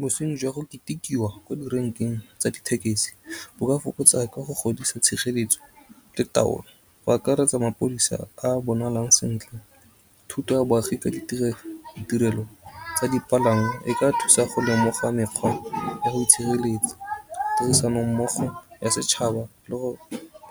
Bosenyi jwa go ketekiwa ko direnkeng tsa dithekesi bo ka fokotsa ka go godisa tshireletso le taolo go akaretsa mapodisa a bonalang sentle. Thuto ya boagi ka ditirelo tsa dipalangwa e ka thusa go lemoga mekgwa ya go itshireletsa. Tirisanommogo ya setšhaba le go